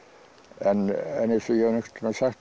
en eins og ég hef nú einhvern tímann sagt